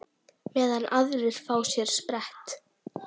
Meðan aðrir fá sér sprett?